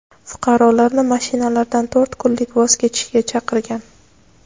fuqarolarni mashinalardan to‘rt kunlik voz kechishga chaqirgan.